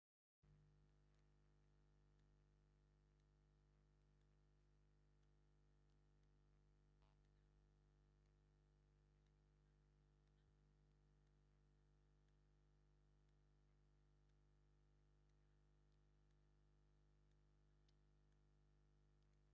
ተፈጥሮን አከባቢን ተፈጥሮን አከባቢን ማለት ፀልማትን ቀትርን ገይሩ ምድሪ ዝፈጠረ አምላክ እንትኸውን፤ ብጣዕሚ በሪክ ዝኮነ ቦታ አብ ልዕሊኡ ከዓ ሓምለዎት ተክሊታትን ሳዕሪታትን ይርከቡ፡፡ ሰማያዊ ሕብሪ ዘለዎ ድሕረ ገፅ ከዓ ይርከብ፡፡ እዚ ጎቦ አበይ እዩ?